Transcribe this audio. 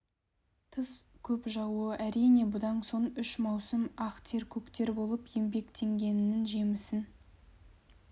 тыс көп жаууы әрине бұдан соң үш маусым ақ тер көк тер болып еңбектенгенінің жемісін